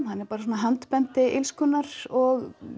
hann er bara svona handbendi illskunnar og